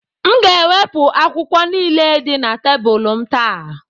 M ga-ewepụ akwụkwọ niile dị na tebụl m taa.